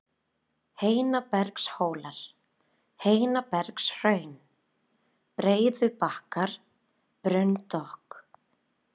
Heinabergshólar, Heinabergshraun, Breiðubakkar, Brunndokk